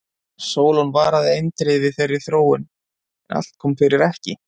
Sólon varaði eindregið við þeirri þróun en allt kom fyrir ekki.